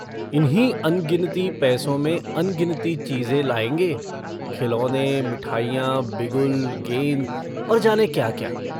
इन्हीं अनगिनती पैसों में अनगिनती चीजें लायेंगे। खिलौने, मिठाइयाँ, बिगुल, गेंद, और जाने क्या-क्या।